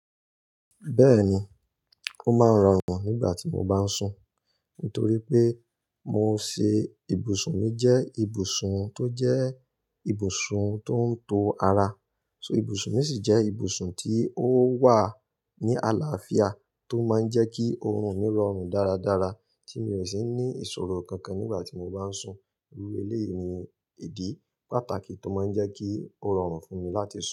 Bẹ́ẹ̀ni, ó máa ń rọrùn nígbà tí mo bá ń sùn, nítorí pé mo ṣe ibùsùn mi jẹ́ ibùsùn tó jẹ́ ibùsùn tó ń to ara. So ibùsùn mi sì jẹ́ ibùsùn tí ó wà ní àlàáfíà tó máa ń jẹ́ kí ọrùn mi rọrùn dáradára tí mi ò sì ní ìṣòro kankan nígbà tí mo bá ń sùn. Irú eré yìí ni ìdí pàtàkì tó máa ń jẹ́ kí ó rọrùn fún mi láti sùn.